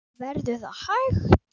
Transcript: Verður það hægt?